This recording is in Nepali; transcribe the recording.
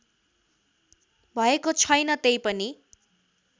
भएको छैन तैपनि